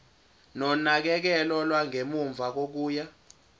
nonakekelo lwangemuva kokuya